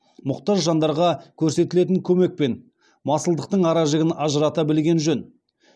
мұқтаж жандарға көрсетілетін көмек пен масылдықтың ара жігін ажырата білген жөн